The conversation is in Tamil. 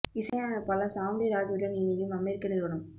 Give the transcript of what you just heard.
இசை அமைப்பாளர் சாம் டி ராஜ் உடன் இணையும் அமெரிக்க நிறுவனம்